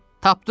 Tapdım!